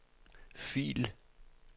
fil